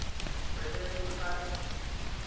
re be re ehlwa re